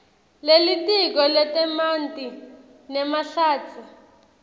lelitiko letemanti nemahlatsi